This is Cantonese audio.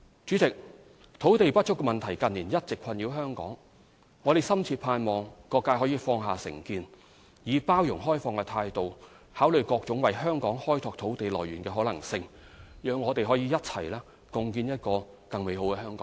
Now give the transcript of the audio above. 主席，土地不足問題近年一直困擾香港，我深切盼望各界可以放下成見，以包容開放態度考慮各種為香港開拓土地來源的可能性，讓我們可以一起共建一個更美好的香港。